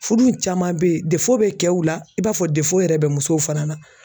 Furu caman bɛ yen bɛ kɛw la i b'a fɔ yɛrɛ bɛ musow fana na.